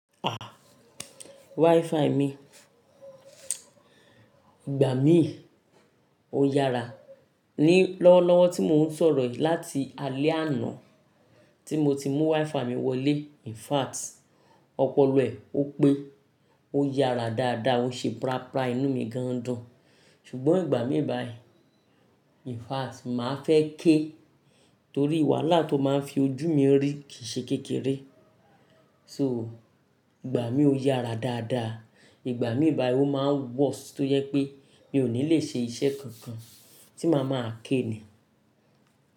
À, WiFi mi ìgbà míì ó yára. Ní lọ́wọ́lọ́wọ́ tí mò ń sọ̀rọ̀ yìí, láti alé àná tí mo ti mú WiFi mi wọlé. In fact, ọpọlọ ẹ̀ ópé ó yára dáadáa, ó ń ṣe prapra inú mi gan ń dùn. Ṣùgbọ́n ìgbà míì báyìí, in fact màá fẹ́ ké torí wàhálà tó máa ń fi ojú mi rí kìí ṣe kékeré. So, ìgbà míì ó yára dáadáa, ìgbà míì báyìí ó máa ń worst tó jẹ́ pé mi ò ní lè ṣe iṣẹ́ kankan tí màá máa ké ni.